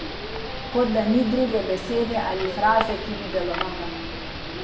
Kot da ni druge besede ali fraze, ki bi delovala.